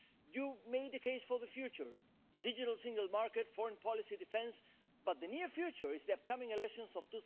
You made a case for the future the digital single market, foreign policy, defence but the near future is the upcoming elections of